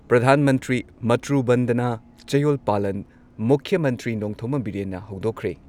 ꯄ꯭ꯔꯙꯥꯟ ꯃꯟꯇ꯭ꯔꯤ ꯃꯥꯇ꯭ꯔꯨ ꯕꯟꯗꯅ ꯆꯌꯣꯜ ꯄꯥꯂꯟ ꯃꯨꯈ꯭ꯌ ꯃꯟꯇ꯭ꯔꯤ ꯅꯣꯡꯊꯣꯝꯕꯝ ꯕꯤꯔꯦꯟꯅ ꯍꯧꯗꯣꯛꯈ꯭ꯔꯦ ꯫